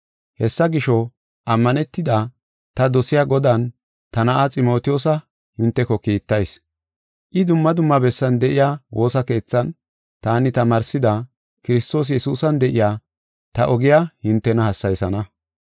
Hessa gisho, ammanetida, ta dosiya, Godan ta na7a, Ximotiyoosa hinteko kiittayis. I dumma dumma bessan de7iya woosa keethan taani tamaarsida, Kiristoosa Yesuusan de7iya, ta ogiya hintena hassayisana.